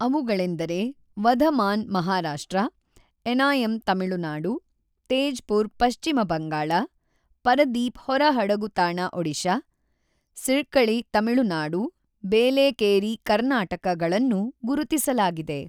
ಅವುಗಳೆಂದರೆ ವಧಮಾನ್ ಮಹಾರಾಷ್ಟ್ರ ಎನಾಯಂ ತಮಿಳುನಾಡು, ತೇಜ್ ಪುರ್ ಪಶ್ಚಿಮ ಬಂಗಾಳ, ಪರದೀಪ್ ಹೊರ ಹಡಗು ತಾಣ ಒಡಿಶಾ, ಸಿರ್ಕಝೈ ತಮಿಳುನಾಡು ಬೇಲೇಕೇರಿ ಕರ್ನಾಟಕ ಗಳನ್ನು ಗುರುತಿಸಲಾಗಿದೆ.